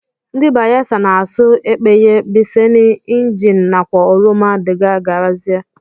Ndi bayelsa na asụ ekpeye, biseni, engenn nakwa oruma dgz.